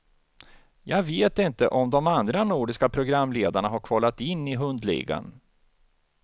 Jag vet inte om de andra nordiska programledarna har kvalat in i hundligan.